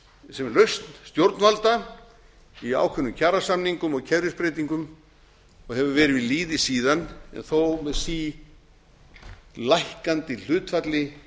sem lausn stjórnvalda í ákveðnum kjarasamningum og kerfisbreytingum og hefur verið við lýði síðan þó með sílækkandi hlutfalli